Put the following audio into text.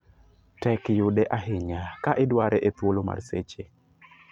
Tek yude ahinya ka idware e thuolo mar seche.